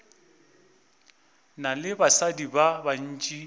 na le basadi ba bantši